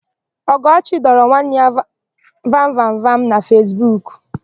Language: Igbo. Ọgọchi dọrọ nwanne dị ya vamvamvam na Fesbuku.